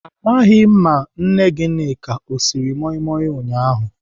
Amaghị m nne Gịnịka ọ siri moi moi ụnyaahụ.